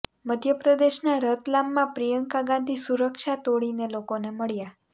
મધ્ય પ્રદેશના રતલામમાં પ્રિયંકા ગાંધી સુરક્ષા તોડીને લોકોને મળ્યા